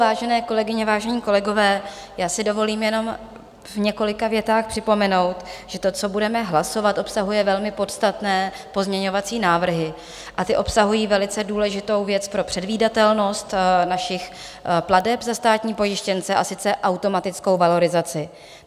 Vážené kolegyně, vážení kolegové, já si dovolím jenom v několika větách připomenout, že to, co budeme hlasovat, obsahuje velmi podstatné pozměňovací návrhy, a ty obsahují velice důležitou věc pro předvídatelnost našich plateb za státní pojištěnce, a to automatickou valorizaci.